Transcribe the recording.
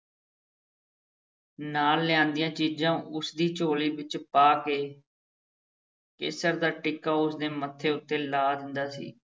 ਨਾਲ ਲਿਆਂਦੀਆਂ ਚੀਜ਼ਾਂ ਉਸ ਦੀ ਝੋਲੀ ਵਿੱਚ ਪਾ ਕੇ ਕੇਸਰ ਦਾ ਟਿੱਕਾ ਉਸ ਦੇ ਮੱਥੇ ਉੱਤੇ ਲਾ ਦਿੰਦਾ ਸੀ।